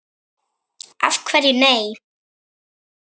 Af hverju nei?